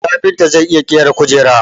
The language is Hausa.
Kafinta zai iya ƙera kujera